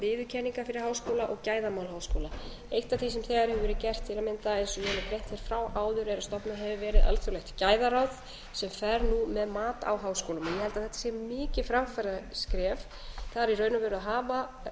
viðurkenninga fyrir háskóla og gæðamál háskóla eitt af því sem þegar hefur verið gert til að mynda eins og ég hef frá áður er að stofnað hefur verið alþjóðlegt gæðaráð sem fer nú með mat á háskólum ég held að þetta sé mikið framfaraskref það er í raun og veru að hafa